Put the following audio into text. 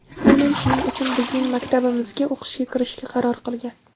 Aynan shuning uchun bizning maktabimizga o‘qishga kirishga qaror qilgan.